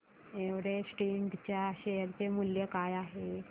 Everest इंड च्या share चे मूल्य काय आहे